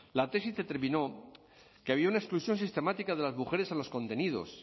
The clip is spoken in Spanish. la tesis determinó que había una exclusión sistemática de las mujeres en los contenidos